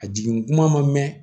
A jigin kuma ma mɛn